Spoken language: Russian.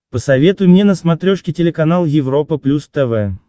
посоветуй мне на смотрешке телеканал европа плюс тв